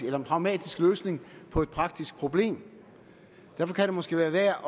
en pragmatisk løsning på et praktisk problem og derfor kan det måske være værd